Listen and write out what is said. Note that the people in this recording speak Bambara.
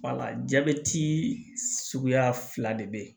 jabɛti suguya fila de be yen